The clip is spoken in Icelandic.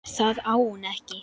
Það á hún ekki.